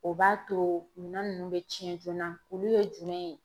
O b'a to minɛn ninnu bɛ tiɲɛ joona ,olu ye jumɛn ye